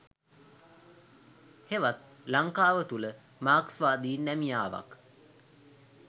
හෙවත් ලංකාව තුළ මාක්ස්වාදී නැමියාවක්